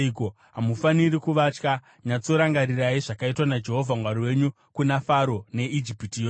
Hamufaniri kuvatya; nyatsorangarirai zvakaitwa naJehovha Mwari wenyu kuna Faro neIjipiti yose.